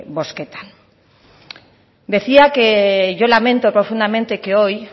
bozketan decía que yo lamento profundamente que hoy